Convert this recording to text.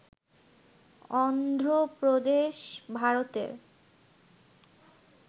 অন্ধ্র প্রদেশ ভারতের